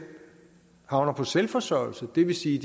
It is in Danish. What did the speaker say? havner på selvforsørgelse det vil sige